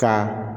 Ka